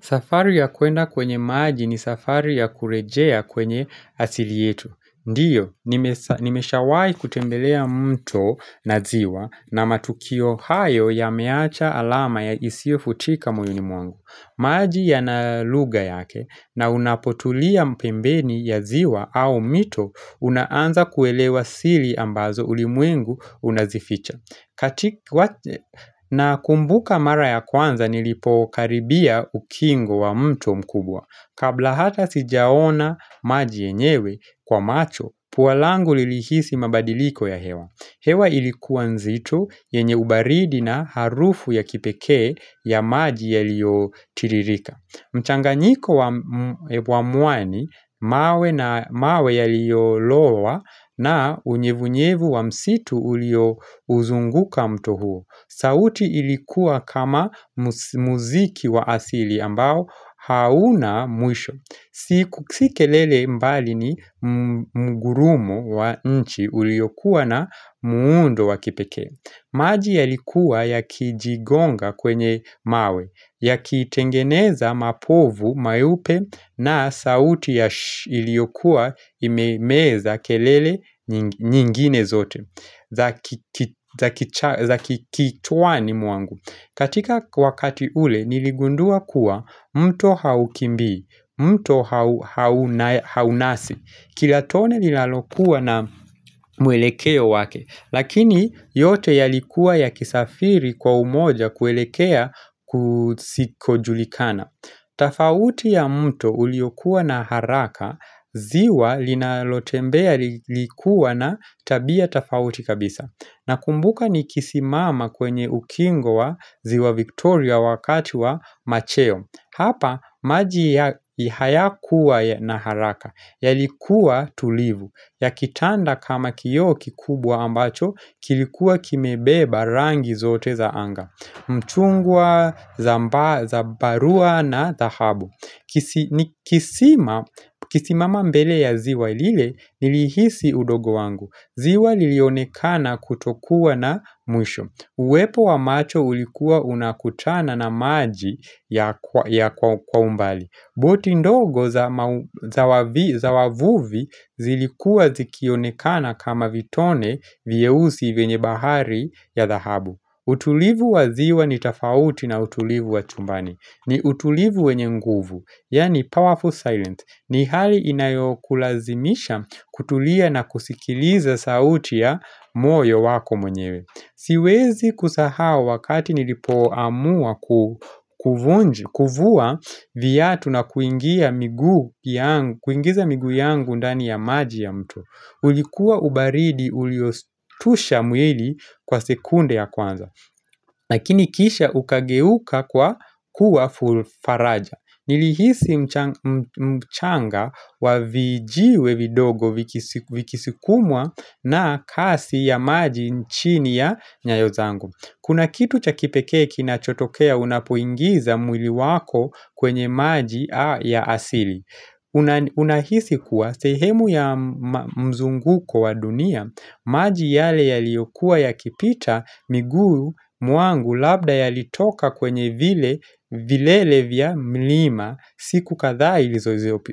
Safari ya kuenda kwenye maji ni safari ya kurejea kwenye asili yetu. Ndiyo, nimeshawayi kutembelea mto na ziwa na matukio hayo ya meacha alama ya isio futika mwilini mwangu. Maji ya naluga yake na unapotulia mpembeni ya ziwa au mito unaanza kuelewa sili ambazo ulimwengu unazificha. Katika na kumbuka mara ya kwanza nilipo karibia ukingo wa mto mkubwa. Kabla hata sijaona maji yenyewe kwa macho, puwalangu lilihisi mabadiliko ya hewa. Hewa ilikuwa nzitu yenye ubaridi na harufu ya kipeke ya maji ya liyo tiririka. Mchanganyiko wa muwani, mawe na mawe ya liyo lowa na unyevunyevu wa msitu ulio uzunguka mto huo. Sauti ilikuwa kama muziki wa asili ambao hauna mwisho. Siku sikelele mbali ni mgurumu wa nchi uliyokuwa na muundo wa kipeke maji ya likuwa ya kijigonga kwenye mawe ya kitengeneza mapovu, mayupe na sauti ya iliokuwa imeza kelele nyingine zote zaki kichwa ni muangu katika wakati ule niligundua kuwa mto haukimbi mto haunasi Kilatone lilalokuwa na mwelekeo wake Lakini yote yalikuwa ya kisafiri kwa umoja kwelekea kusikojulikana Tafauti ya mto uliokuwa na haraka ziwa linalotembea likuwa na tabia tafauti kabisa Nakumbuka nikisi mama kwenye ukingo wa ziwa Victoria wakati wa macheo Hapa, maji ya ihaya kuwa na haraka, ya likuwa tulivu, ya kitanda kama kiyo kikubwa ambacho, kilikuwa kimebeba rangi zote za anga, mchungwa za barua na dahabu. Kisima mambele ya ziwa ilile nilihisi udogo wangu ziwa lilionekana kutokuwa na mwisho Uwepo wa macho ulikuwa unakutana na maji ya kwa umbali Boti ndogo za wavia za wavuvi zilikua zikionekana kama vitone vyeusi venye bahari ya dhahabu utulivu wa ziwa ni tafauti na utulivu wa chumbani ni utulivu wenye nguvu, yani powerful silence ni hali inayokulazimisha kutulia na kusikiliza sauti ya moyo wako mwenyewe Siwezi kusahau wakati nilipoamua kufuwa viyatu na kuingiza migu yangu undani ya maji ya mtu ulikuwa ubaridi uliostusha muili kwa sekunde ya kwanza lakini kisha ukageuka kwa kuwa fufaraja. Nilihisi mchanga wa vijiwe vidogo vikisikumwa na kasi ya maji nchini ya nyayo zangu. Kuna kitu cha kipeke kina chotokea unapoingiza mwili wako kwenye maji ya asili. Unahisi kuwa sehemu ya mzunguko wa dunia maji yale yaliokuwa ya kipita miguu muangu labda yalitoka kwenye vile vilele vya mlima siku kadha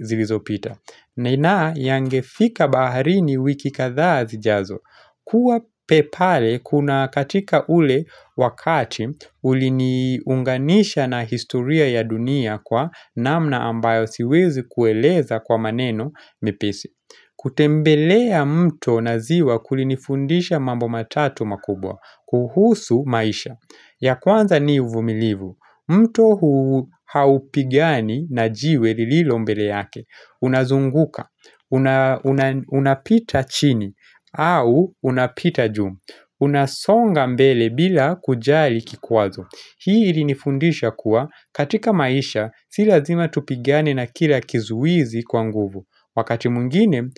ilizo pita Nena yangefika bahari ni wiki kadhaa zijazo Kua pepale, kuna katika ule wakati, uli niunganisha na historia ya dunia kwa namna ambayo siwezi kueleza kwa maneno mepesi. Kutembelea mto na ziwa kulini fundisha mambo matatu makubwa, kuhusu maisha. Ya kwanza ni uvumilivu, mto hu haupigiani na jiwe lililo mbele yake. Unazunguka, unapita chini, au unapita juu Unasonga mbele bila kujali kikwazo Hii ilinifundisha kuwa katika maisha silazima tupigane na kila kizuizi kwa nguvu Wakati mungine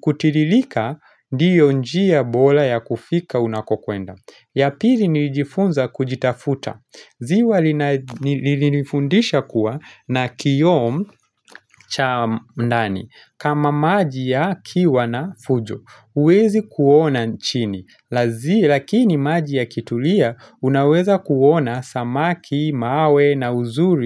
kutililika ndiyo njia bola ya kufika unakokuenda Yapili nijifunza kujitafuta ziwa linifundisha kuwa na kiyom cha ndani kama maji ya kiwa na fujo Uwezi kuona nchini Lakini maji ya kitulia unaweza kuona samaki, mawe na uzuri.